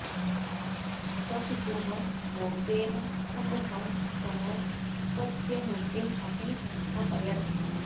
स्वपितुः मूर्तेः सम्मुखं सः स्वस्य मूर्तिम् अपि अस्थापयत्